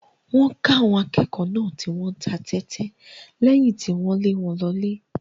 Wọ́n ká àwọn akẹ́kọ̀ọ́ náà tí wọ́n ń ta tẹ́tẹ́ lẹ́yìn tí wọ́n lé wọn lọlé.